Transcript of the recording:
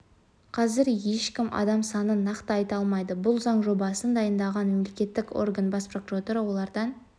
қазір ешкім адам санын нақты айта алмайды бұл заң жобасын дайындаған мемлекеттік орган бас прокуратура олардан